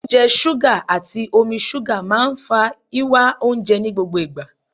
Oúnjẹ ṣúgà, àti omi ṣúgà máa ń fa ìwá oúnjẹ ní gbogbo ìgbà.